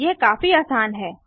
यह काफी आसान है